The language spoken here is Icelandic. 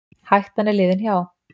Hættan er liðin hjá.